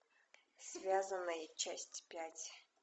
связанные часть пять